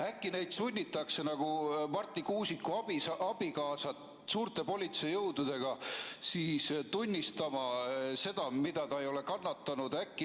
Äkki neid sunnitakse nagu Marti Kuusiku abikaasat suurte politseijõududega tunnistama seda, mida nad ei ole kannatanud?